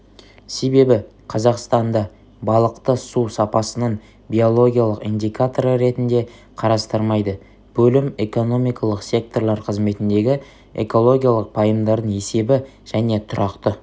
себебі қазақстанда балықты су сапасының биологиялық индикаторы ретінде қарастырмайды бөлім экономикалық секторлар қызметіндегі экологиялық пайымдардың есебі және тұрақты